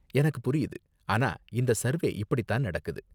எனக்கு புரியுது, ஆனா இந்த சர்வே இப்படி தான் நடக்குது.